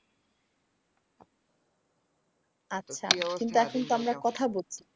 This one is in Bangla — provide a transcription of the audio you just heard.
আচ্ছা কিন্তু এত দিন তো আমরা কথা বলছি।